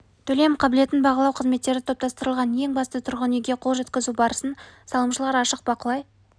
төлем қабілетін бағалау қызметтері топтастырылған ең бастысы тұрғын үйге қол жеткізу барысын салымшылар ашық бақылай